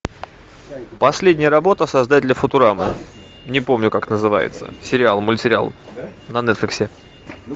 последняя работа создателя футурамы не помню как называется сериал мультсериал на нетфликсе